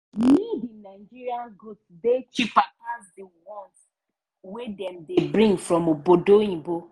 made in nigeria goods dey cheper pass di one wey dem bring from obodoyinbo.